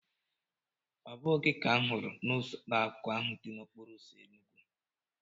Ọ bụghị gị ka m hụrụ n'ụlọakụ ahụ dị n'okporoụzọ Enugu?